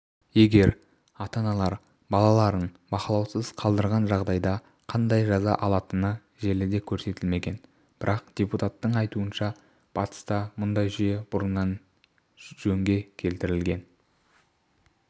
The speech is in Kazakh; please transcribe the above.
егер ата-аналар балаларын бақылаусыз қалдырған жағдайда қандай жаза алатыны желіде көрсетілмеген бірақ депутаттың айтуынша батыста мұндай жүйе бұрыннан жөнге келтірілген